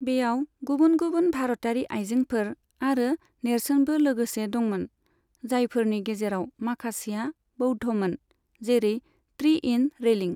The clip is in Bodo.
बेयाव गुबुन गुबुन भारतारि आइजेंफोर आरो नेरसोनबो लोगोसे दंमोन, जायफोरनि गेजेराव माखासेआ बौद्धमोन, जेरै ट्री इन रेलिं।